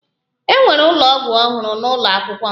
E wuru ụlọ ọgwụ ọhụrụ n'ụlọ akwụkwọ m